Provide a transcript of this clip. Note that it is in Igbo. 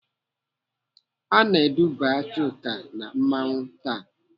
Ana eduba Chuka na mmanwụ taa.